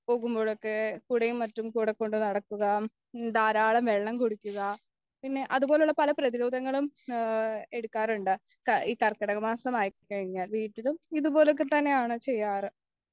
പോകുമ്പോളൊക്കെ കുടയും മറ്റും കൂടെക്കൊണ്ടു നടക്കുക ധാരാളം വെള്ളം കുടിക്കുക പിന്നെ അതുപോലെയുള്ള പല പ്രധിരോധങ്ങളും ഏ എടുക്കാറുണ്ട് ഈ കർക്കിടകമാസം ആയിക്കഴിഞ്ഞാൽ വീട്ടിലും ഇതുപോലെയൊക്കെത്തന്നെയാണ് ചെയ്യാറ്